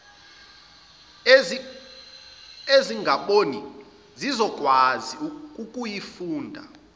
ezingaboni zizokwazi ukuyifunda